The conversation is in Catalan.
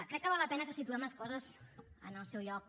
crec que val la pena que situem les coses en el seu lloc